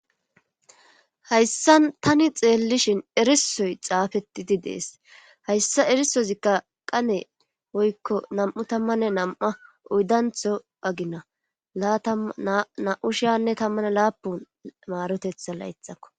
hayssan tani xeellishin erisoy xaafetidi dees hayssa erisozikka qane woykko nam7u tammanne nam7a uydantho agina laata na7u shiyanne tammana laapun maarotetha laythakko